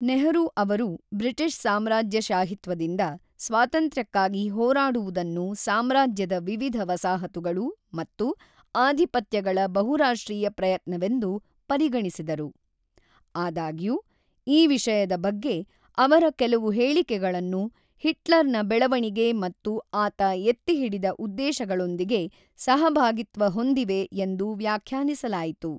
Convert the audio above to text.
ನೆಹರೂ ಅವರು ಬ್ರಿಟಿಷ್ ಸಾಮ್ರಾಜ್ಯಶಾಹಿತ್ವದಿಂದ ಸ್ವಾತಂತ್ರ್ಯಕ್ಕಾಗಿ ಹೋರಾಡುವುದನ್ನು ಸಾಮ್ರಾಜ್ಯದ ವಿವಿಧ ವಸಾಹತುಗಳು ಮತ್ತು ಆಧಿಪತ್ಯಗಳ ಬಹುರಾಷ್ಟ್ರೀಯ ಪ್ರಯತ್ನವೆಂದು ಪರಿಗಣಿಸಿದರು ; ಆದಾಗ್ಯೂ, ಈ ವಿಷಯದ ಬಗ್ಗೆ ಅವರ ಕೆಲವು ಹೇಳಿಕೆಗಳನ್ನು ಹಿಟ್ಲರ್ ನ ಬೆಳವಣಿಗೆ ಮತ್ತು ಆತ ಎತ್ತಿಹಿಡಿದ ಉದ್ದೇಶಗಳೊಂದಿಗೆ ಸಹಭಾಗಿತ್ವ ಹೊಂದಿವೆ ಎಂದು ವ್ಯಾಖ್ಯಾನಿಸಲಾಯಿತು.